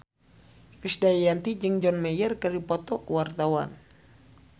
Krisdayanti jeung John Mayer keur dipoto ku wartawan